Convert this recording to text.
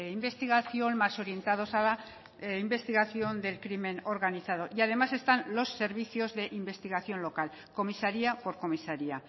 investigación más orientados a la investigación del crimen organizado y además están los servicios de investigación local comisaría por comisaría